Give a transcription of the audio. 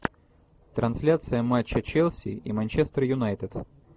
трансляция матча челси и манчестер юнайтед